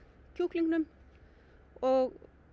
kjúklingnum og